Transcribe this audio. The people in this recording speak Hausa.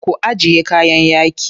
Ku ajiye kayan yaƙi.